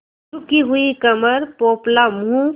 झुकी हुई कमर पोपला मुँह